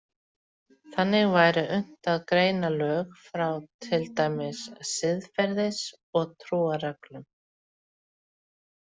Þannig væri unnt að greina lög frá til dæmis siðferðis- og trúarreglum.